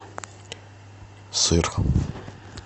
сыр